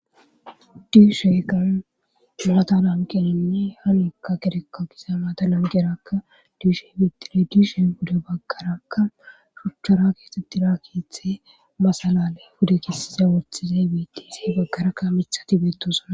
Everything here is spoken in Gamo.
diisheyka maata lanqeninne hanekka kedekka kisa maata lanqeraka diishe betile diishe huda baggaraakka ruchchara keexetti raakithe masalale buda kissiza worthizey biti izey bagkaraakka mithati beetosana